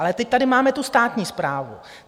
Ale teď tady máme tu státní správu.